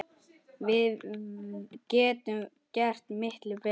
Við getum gert miklu betur!